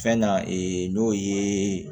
Fɛn na n'o ye